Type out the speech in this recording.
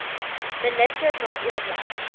minister na oorleg